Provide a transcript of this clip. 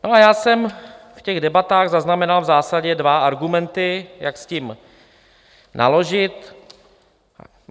No a já jsem v těch debatách zaznamenal v zásadě dva argumenty, jak s tím naložit.